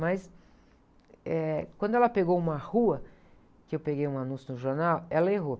Mas, eh, quando ela pegou uma rua, que eu peguei um anúncio no jornal, ela errou.